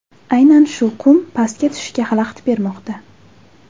Aynan shu qum pastga tushishga xalaqit bermoqda.